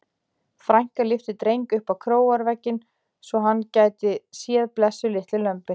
Frænka lyfti Dreng upp á króarvegginn svo hann gæti séð blessuð litlu lömbin.